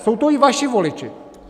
Jsou to i vaši voliči!